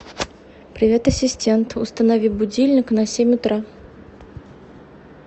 привет ассистент установи будильник на семь утра